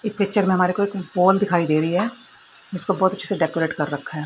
इस पिक्चर में हमारे को वॉल दिखाई दे रही है जिसको बहोत अच्छे से डेकोरेट कर रखा है।